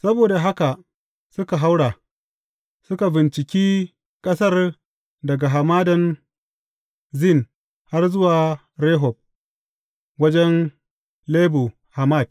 Saboda haka suka haura, suka binciki ƙasar daga Hamadan Zin har zuwa Rehob, wajen Lebo Hamat.